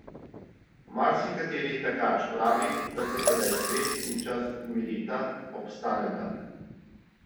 Marsikateri tekač pravi, da se tedaj svet in čas umirita, obstaneta.